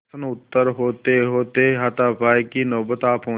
प्रश्नोत्तर होतेहोते हाथापाई की नौबत आ पहुँची